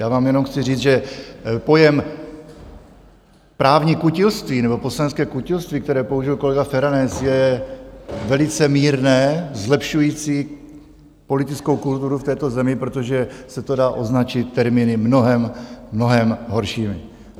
Já vám jenom chci říct, že pojem právní kutilství nebo poslanecké kutilství, které použil kolega Feranec, je velice mírné, zlepšující politickou kulturu v této zemi, protože se to dá označit termíny mnohem, mnohem horšími.